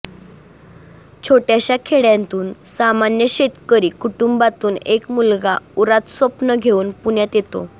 छोटय़ाशा खेडय़ातून सामान्य शेतकरी कुटुंबातून एक मुलगा उरात स्वप्नं घेऊन पुण्यात येतो